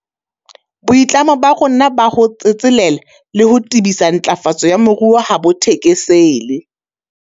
Boitlamo ba rona ba ho tsetselela le ho tebisa matlafatso ya moruo ha bo thekesele.